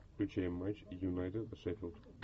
включай матч юнайтед шеффилд